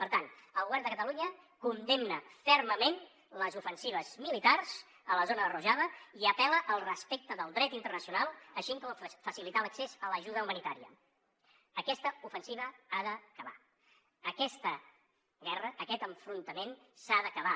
per tant el govern de catalunya condemna fermament les ofensives militars a la zona de rojava i apel·la al respecte del dret internacional així com a facilitar l’accés a l’ajuda humanitària aquest ofensiva ha d’acabar aquesta guerra aquest enfrontament s’ha d’acabar